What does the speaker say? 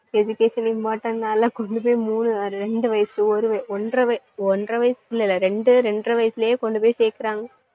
education important னா கொண்டுபோய் மூணு, ரெண்டு வயசு, ஒரு வய~ ஒன்றரை வயசு, ஒன்றரை வயசு குள்ள இல்ல. ரெண்டு, இரண்டரை வயசுலே கொண்டுபோய் சேக்குறாங்க